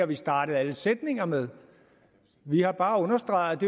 vi startet alle sætninger med vi har bare understreget